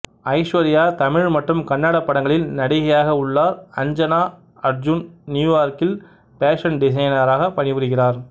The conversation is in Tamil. ஐஸ்வர்யா தமிழ் மற்றும் கன்னட படங்களில் நடிகையாக உள்ளார் அஞ்சனா அர்ஜுன் நியூயார்க்கில் பேஷன் டிசைனராக பணிபுரிகிறார்